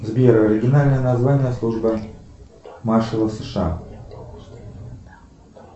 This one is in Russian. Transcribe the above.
сбер оригинальное название службы маршала сша